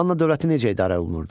Manna dövləti necə idarə olunurdu?